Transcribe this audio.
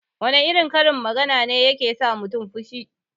Wana irin karin magana ne yake sa mutun fushi?